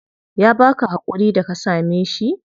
Ya baka hakuri da ka same shi?